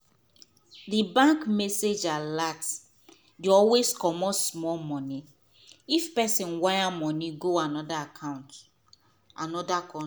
the bank message alert dey always comot small money if pesin wire money go another account another con.